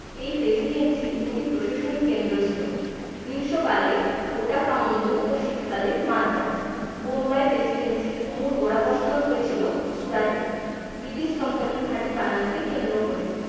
এই presidency র দু'টি প্রশাসনিক কেন্দ্র ছিল। গ্রীষ্মকালে ওটাকামুন্ডু ও শীতকালে মাদ্রাজ। বোম্বাই presidency র মূল গোড়াপত্তন হয়েছিল সুরাটে। ব্রিটিশ company র ঘাঁটি বানানোকে কেন্দ্র করে।